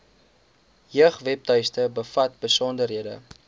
jeugwebtuiste bevat besonderhede